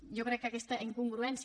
jo crec que aquesta incongruència